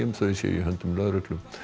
þau séu í höndum lögreglu